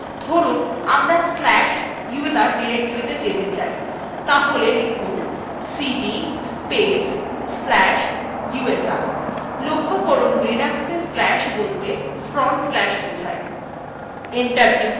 ধরুন আমরা slash usr directoryতে যেতে চাই তাহলে লিখুন